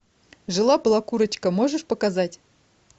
жила была курочка можешь показать